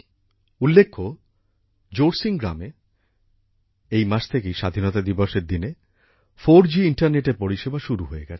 উল্লেখ্য জোরসিং গ্রামে এই মাস থেকেই স্বাধীনতা দিবসের দিনে 4g ইন্টারনেট এর পরিষেবা শুরু হয়ে গেছে